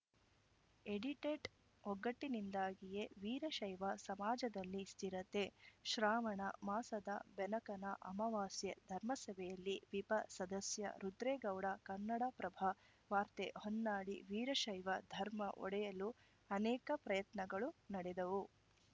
edited ಒಗ್ಗಟ್ಟಿನಿಂದಾಗಿಯೇ ವೀರಶೈವ ಸಮಾಜದಲ್ಲಿ ಸ್ಥಿರತೆ ಶ್ರಾವಣ ಮಾಸದ ಬೆನಕನ ಅಮಾವಾಸ್ಯೆ ಧರ್ಮಸಭೆಯಲ್ಲಿ ವಿಪ ಸದಸ್ಯ ರುದ್ರೇಗೌಡ ಕನ್ನಡಪ್ರಭ ವಾರ್ತೆ ಹೊನ್ನಾಳಿ ವೀರಶೈವ ಧರ್ಮ ಒಡೆಯಲು ಅನೇಕ ಪ್ರಯತ್ನಗಳು ನಡೆದವು